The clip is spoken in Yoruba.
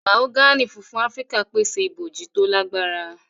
Mahogany fúnfún Áfíríkà pèsè ibojì to lagbara.